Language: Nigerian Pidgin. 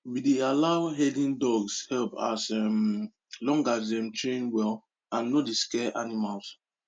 we dey allow herding dogs help as um long as dem train well and no dey scare animals